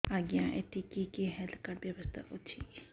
ଆଜ୍ଞା ଏଠି କି କି ହେଲ୍ଥ କାର୍ଡ ବ୍ୟବସ୍ଥା ଅଛି